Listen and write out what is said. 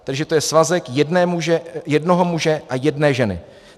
Takže to je svazek jednoho muže a jedné ženy.